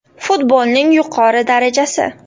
Futbolning yuqori darajasi.